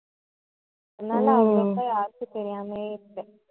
அதனால அவ்வளவுக்கும் யாருக்கும் தெரியாமையே இருக்கு